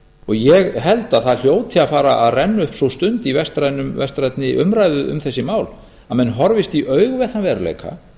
ég held að það hljóti að fara að renna upp sú stund í vestrænni umræðu um þessi mál að menn horfist í augu við þann veruleika